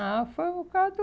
Ah, foi por causa do...